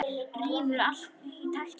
Rífur allt í tætlur.